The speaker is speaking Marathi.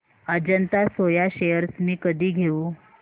अजंता सोया शेअर्स मी कधी घेऊ